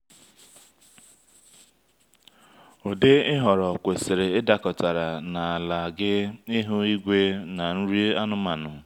ụdị ị họrọ kwesịrị ịdakọtara na ala gị ihu igwe na nri anụmanụ.